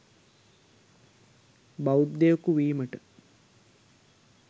බෞද්ධයකු වීමට